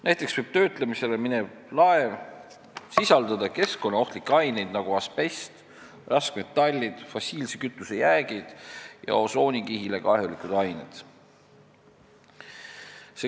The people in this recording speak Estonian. Näiteks võib töötlemisele minev laev sisaldada keskkonnaohtlikke aineid, nagu asbest, raskmetallid, fossiilse kütuse jäägid ja osoonikihile kahjulikud ained.